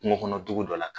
Kungo kɔnɔ dugu dɔ la